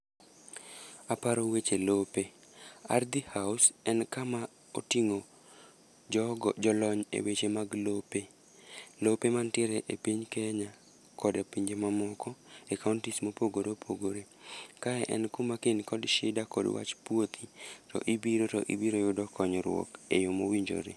Aparo weche lope, Ardhi House en kama oting'o jogo jolony e weche mag lope. Lope mantiere e piny Kenya koda pinje mamoko, e kaontis mopogore opogore. Kae en kuma kain kod shida kod wach puothi, to ibiro to ibiro yudo konyruok e yo mowinjore.